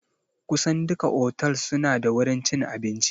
Kusan duka otals suna da wurin cin abinci